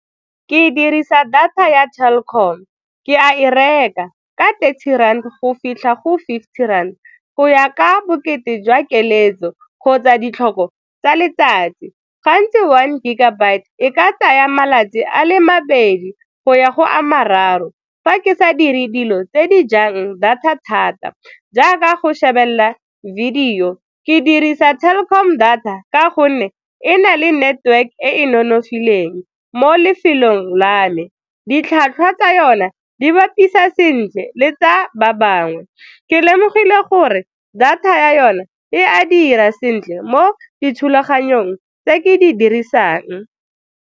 Ke dirisa data ya Telkom, ke a e reka ka thirty rand go fitlha go fifty rand, go ya ka bokete jwa keletso kgotsa ditlhoko tsa letsatsi. Gantsi one gigabyte e ka tsaya malatsi a le mabedi go ya go a mararo fa ke sa dire dilo tse di jang data thata jaaka go shebelela video ke dirisa Telkom data ka gonne e na le network e e nonofileng mo lefelong la me. Ditlhwatlhwa tsa yone di bapisa sentle le tsa ba bangwe, ke lemogile gore data ya yone e a dira sentle mo dithulaganyong tse ke di dirisang.